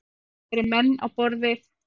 Það eru menn á borð við